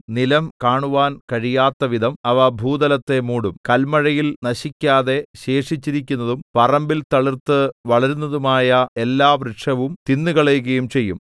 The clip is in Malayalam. നിലം കാണുവാൻ കഴിയാത്തവിധം അവ ഭൂതലത്തെ മൂടും കല്മഴയിൽ നശിക്കാതെ ശേഷിച്ചിരിക്കുന്നതും പറമ്പിൽ തളിർത്ത് വളരുന്നതുമായ എല്ലാ വൃക്ഷവും തിന്നുകളയുകയും ചെയ്യും